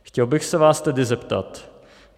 Chtěl bych se vás tedy zeptat.